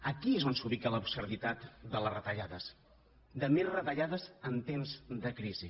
aquí és on s’ubica l’absurditat de les retallades de més retallades en temps de crisi